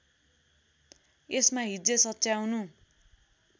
यसमा हिज्जे सच्याउनु